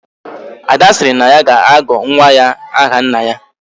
Ada siri na ya ga-agọ nwa ya aha nna ya